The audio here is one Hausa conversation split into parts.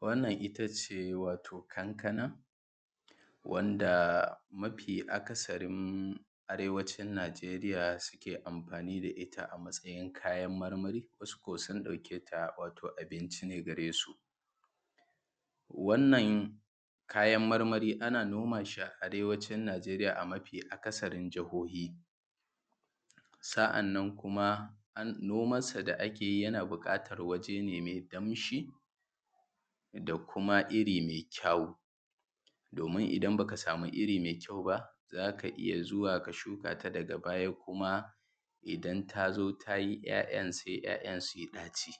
wannan ittace wato kankana wanda maɸi aka sarin arewacin najeriya suke amfani da itta a maʦayin kayan marmari wasu sun dauke ta matsayin abinci ne gare su wannan kayan marmari ana nomashi a arewacin najeriya a mafi aka sarin jihohi sa’annan kuma noman sa da’akeyi yana bukatan wajene mai danshi da kuma irri mai kyawu domin idan baka sami irri mai kyau ba zaka iyya zuwa ka shuka shi daga baya kuma idan tayi ya yan ya yan suyi daci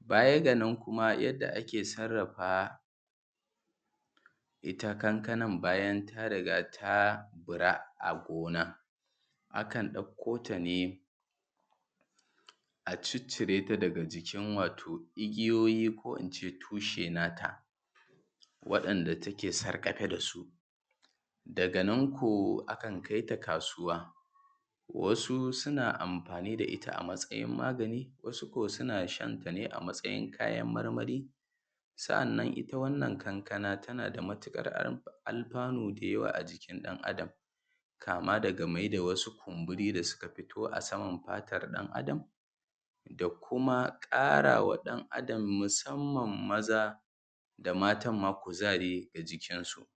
baya ganaƙn kuma yadda ake sarrafa itta kankanan bayan ta riga ta bura gona akan dauko tane a ciccire ta daga jikin igiyoyi ko ince tushe nata wadan da take sargafe dasu daga nan ko akan kaita kasuwa wasu amfani da itta a matsayin magani wasu ko suna shanta ne a matsayin kayan marmari sa’annan itta wannan kankana tanada matukar alfanu da yawa a jikin dan adam kama daga mai da wasu kumburi dasu da suka fito a samar fatan dan adam da kuma karawa dan adam musamman maza da matan ma kuzari ga jikin su